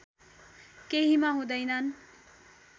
केहीमा हुँदैनन्